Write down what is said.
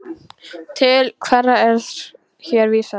Til hverra er hér vísað?